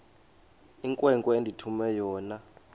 inkwenkwe endithume yona